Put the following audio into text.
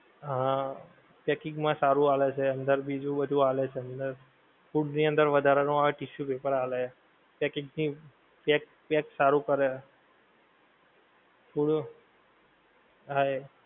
હા packing માં સારું આલે અંદર બીજું નાધુ આલે છે અંદર, food ની વધારેલ નો tissue paper આલે packing ની pack સારું કરે food હા એ